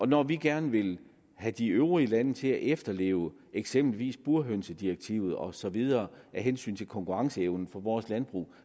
når vi gerne vil have de øvrige lande til at efterleve eksempelvis burhønedirektivet og så videre af hensyn til konkurrenceevnen for vores landbrug